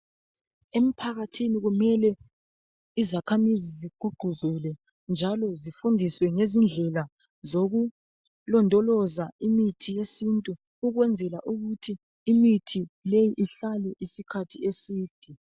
Emphakathini kumele izakhamizi zigqugquzele njalo zifundiswe ngezindlela zokulondoloza imithi yesintu ukwenzela ukuthi imithi leyi ihlale isikhathi eside.